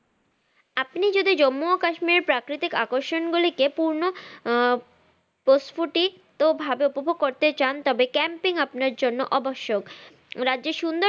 আপনি যদি জম্মু ও কাশ্মীর প্রাকৃতিক আকর্ষণ গুলিকে পূর্ণ আহ প্রষ্ফটিক ভাবে উপভোগ ভাবে করতে চান তবে camping আপনার জন্য আবশ্যক রাজ্যের সুন্দর